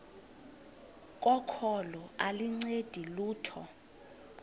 kokholo aluncedi lutho